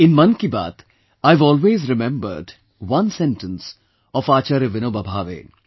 In Mann Ki Baat, I have always remembered one sentence of Acharya Vinoba Bhave